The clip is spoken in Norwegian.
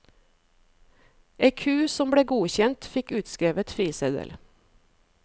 Ei ku som ble godkjent fikk utskrevet friseddel.